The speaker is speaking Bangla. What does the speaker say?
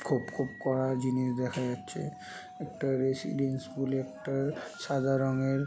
খুব খুব করা জিনিস দেখা যাচ্ছে একটা রেসিডেন্স স্কুল -এ একটা সাদা রঙ এর--